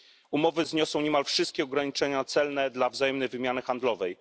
Umowy zniosą niemal wszystkie ograniczenia celne dla wzajemnej wymiany handlowej.